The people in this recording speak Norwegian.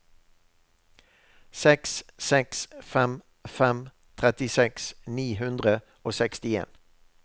seks seks fem fem trettiseks ni hundre og sekstien